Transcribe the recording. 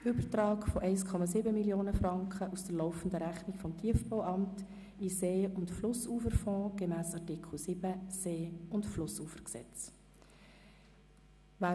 Übertrag von 1,7 Mio. Franken aus der laufenden Rechnung vom Tiefbauamt in den See- und Flussuferfonds gemäss Artikel 7 des Gesetzes über See- und Flussufer vom 6. Juni 1982 (See- und Flussufergesetz, SFG).